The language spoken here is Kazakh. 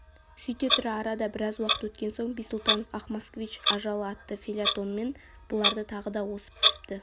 сөйте тұра арада біраз уақыт өткен соң бисұлтанов ақ москвич ажалы атты фельетонмен бұларды тағы да осып түсіпті